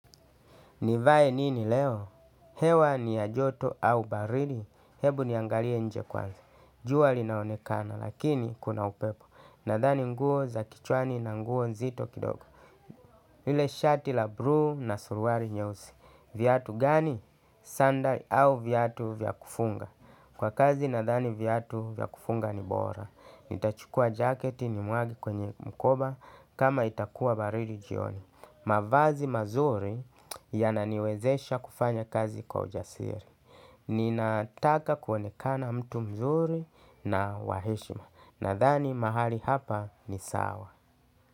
Nivae nini leo? Hewa ni ya joto au baridi. Hebu niangalie nje kwanza. Jua linaonekana lakini kuna upepo. Nadhani nguo za kichwani na nguo nzito kidogo. Ile shati la bruu na suruari nyeusi. Viatu gani sandali au viatu vya kufunga. Kwa kazi nadhani viatu vya kufunga ni bora. Nitachukua jaketi nimwage kwenye mkoba kama itakuwa baridi jioni. Mavazi mazuri yananiwezesha kufanya kazi kwa ujasiri. Ninataka kuonekana mtu mzuri na wa heshima. Nadhani mahali hapa ni sawa.